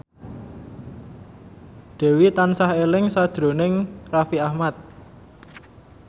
Dewi tansah eling sakjroning Raffi Ahmad